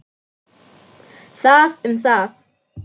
Það um það.